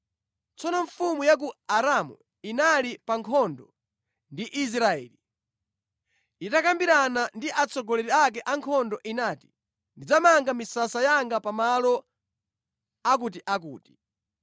Tsono mfumu ya ku Aramu inali pa nkhondo ndi Israeli. Itakambirana ndi atsogoleri ake ankhondo inati, “Ndidzamanga misasa yanga pamalo akutiakuti.”